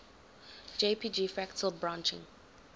jpg fractal branching